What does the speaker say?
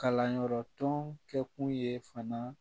Kalanyɔrɔ tɔn kɛ kun ye fana